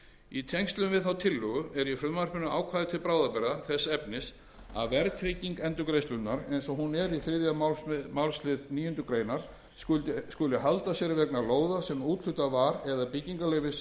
í tengslum við þá tillögu er í frumvarpinu ákvæði til bráðabirgða þess efnis að verðtrygging endurgreiðslunnar eins og hún er í þriðja málslið níundu grein skuli halda sér vegna lóða sem úthlutað var eða byggingarleyfis